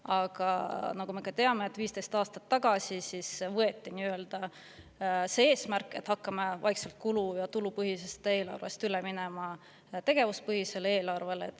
Aga nagu me teame, 15 aastat tagasi võeti eesmärk, et hakkame kulu- ja tulupõhiselt eelarvelt vaikselt üle minema tegevuspõhisele eelarvele.